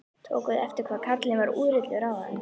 Tókuð þið eftir hvað karlinn var úrillur áðan?